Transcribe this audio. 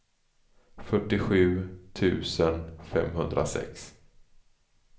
fyrtiosju tusen femhundrasex